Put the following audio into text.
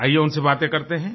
आइये उनसे बातें करते हैं